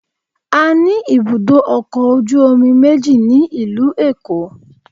A ní ibùdó ọkọ̀ ojú omi méjì ní ìlú Èkó